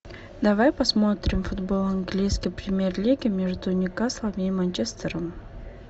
давай посмотрим футбол английской премьер лиги между ньюкаслом и манчестером